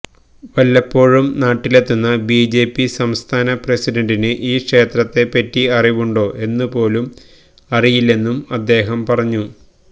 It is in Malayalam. വല്ലപ്പോഴും നാട്ടിലെത്തുന്ന ബിജെപി സംസ്ഥാന പ്രസിഡന്റിന് ഈ ക്ഷേത്രത്തെപ്പറ്റി അറിവുണ്ടോ എന്നു പോലും അറിയില്ലെന്നും അദ്ദേഹം പറഞ്ഞു